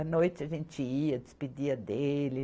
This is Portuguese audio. À noite a gente ia, despedia dele.